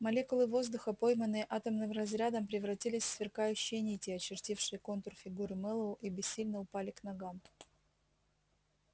молекулы воздуха пойманные атомным разрядом превратились в сверкающие нити очертившие контур фигуры мэллоу и бессильно упали к ногам